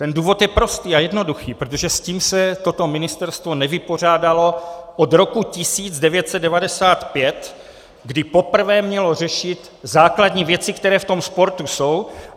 Ten důvod je prostý a jednoduchý: protože s tím se toto ministerstvo nevypořádalo od roku 1995, kdy poprvé mělo řešit základní věci, které v tom sportu jsou.